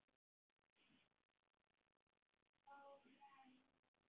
Hórarí og hefnd?